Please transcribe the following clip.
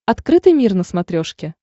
открытый мир на смотрешке